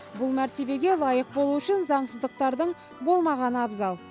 бұл мәртебеге лайық болу үшін заңсыздықтардың болмағаны абзал